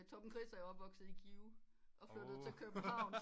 Torben Chris er jo opvokset i Give og flyttet til København